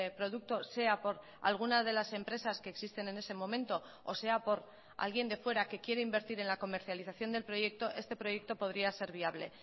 producto sea por alguna de las empresas que existen en ese momento o sea por alguien de fuera que quiere invertir en la comercialización del proyecto este proyecto podría ser viable